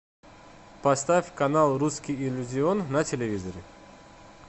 поставь канал русский иллюзион на телевизоре